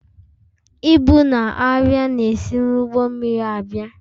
Ibu na arịa na-esi n'ụgbọ mmiri abịa